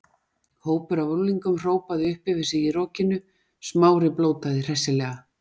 Hópur af unglingum hrópaði upp yfir sig í rokinu, Smári blótaði hressilega.